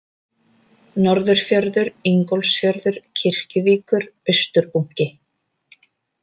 Norðurfjörður, Ingólfsfjörður, Kirkjuvíkur, Austurbunki